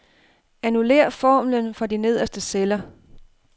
Annullér formlen for de nederste celler.